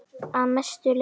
Að mestu leyti